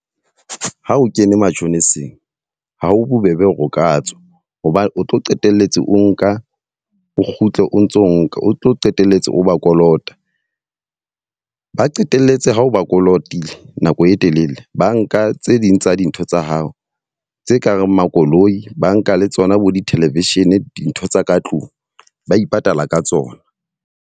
Ha o kene matjhoniseng, ha ho bobebe hore o ka tswa. Hobane o tlo qetelletse o nka, o kgutle o ntso nka. O tlo qetelletse o ba kolota. Ba qetelletse ho o ba kolotile nako e telele, ba nka tse ding tsa dintho tsa hao tse kareng makoloi, ba nka le tsona bo di-television dintho tsa ka tlung ba ipatala ka tsona.